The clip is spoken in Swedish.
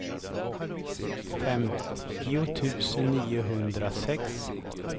femtio tusen niohundrasex